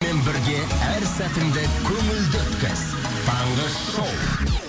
бірге әр сәтіңді көңілді өткіз таңғы шоу